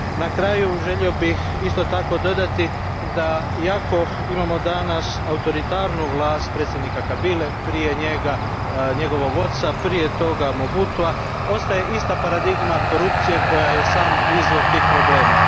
Na kraju, želio bih isto tako dodati da iako imamo danas autoritarnu vlast predsjednika Kabile, prije njega njegovog oca, prije toga Mobutua, ostaje ista paradigma korupcije koja je sam izvor tih problema.